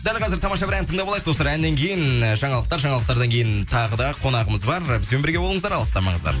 дәл қазір тамаша бір ән тыңдап алайық достар әннен кейін жаңалықтар жаңалықтардан кейін тағы да қонағымыз бар бізбен бірге болыңыздар алыстамаңыздар